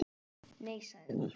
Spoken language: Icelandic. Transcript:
Nei sagði hún.